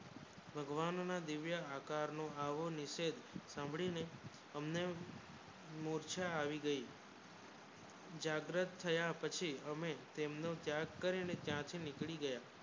ભગવાવન ના દિવ્ય આકાર નું આવું નિષેધ સાંભળી ને અમને મોરછા આવી ગયું જાગ્રત થયા પછી હમને ત્યાગ કરીને તેમને ત્યાંથી નીકળી ગયા